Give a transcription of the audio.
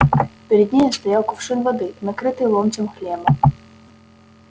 перед нею стоял кувшин воды накрытый ломтем хлеба